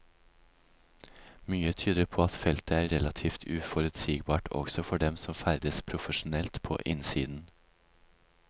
Mye tyder på at feltet er relativt uforutsigbart også for dem som ferdes profesjonelt på innsiden.